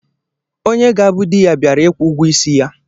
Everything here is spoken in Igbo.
Onye ga-abụ dị ya bịara ịkwụ ụgwọ isi ya